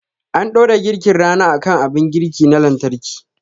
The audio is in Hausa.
An dora girkin rana akan abin girki na lantarki